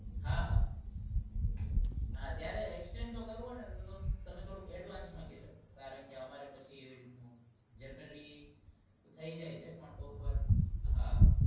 હા હા ત્યાં exchange offer હોય તો advance માં કેજો અમારે generally અમારે થઇ જાઈ છે તો